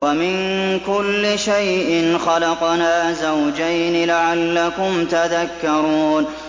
وَمِن كُلِّ شَيْءٍ خَلَقْنَا زَوْجَيْنِ لَعَلَّكُمْ تَذَكَّرُونَ